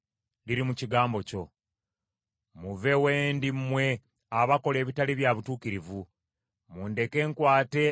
Muve we ndi mmwe abakola ebitali bya butuukirivu, mundeke nkwate ebiragiro bya Katonda wange.